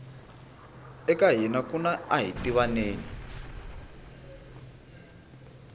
eka hina kuna ahitivaneni